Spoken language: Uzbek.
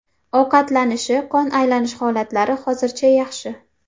Ovqatlanishi, qon aylanish holatlari hozircha yaxshi.